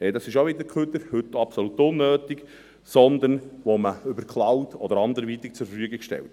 das ist auch wieder Abfall und heute absolut unnötig –, sondern über eine Cloud oder anderweitig zur Verfügung gestellt wird.